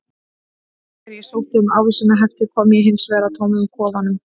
Þegar ég sótti um ávísanahefti kom ég hins vegar að tómum kofanum.